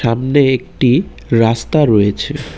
সামনে একটি রাস্তা রয়েছে ।